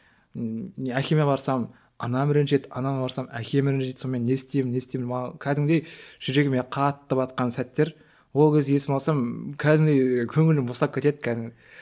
ммм әкеме барсам анам ренжиді анама барсам әкем ренжиді сонымен не істеймін не істеймін кәдімгідей жүрегіме қатты батқан сәттер ол кез есіме алсам кәдімгідей көңілім босап кетеді кәдімгі